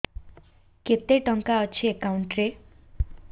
କେତେ ଟଙ୍କା ଅଛି ଏକାଉଣ୍ଟ୍ ରେ